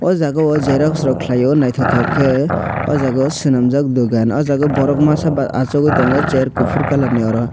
o jaga o xerox rok kelai o naito tok ke o jaga o senamjak dogan o jaga o borok masa asogoi tango chair kopor colour ni oro.